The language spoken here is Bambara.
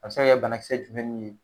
A be se ka kɛ banakisɛ jumɛn n'u ye